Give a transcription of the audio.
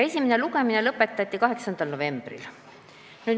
Esimene lugemine lõpetati 8. novembril.